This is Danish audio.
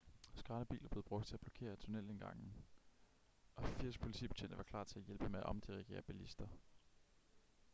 skraldebiler blev brugt til at blokere tunnelindgange og 80 politibetjente var klar til at hjælpe med at omdirigere bilister